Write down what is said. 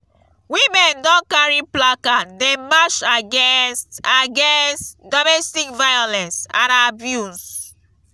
women don carry placard dey march against against domestic violence and abuse.